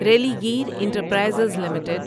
Religare enterprises limited